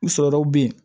U sɔrɔw bɛ yen